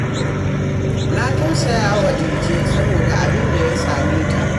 Na tausaya wa Dije saboda abin da ya same ta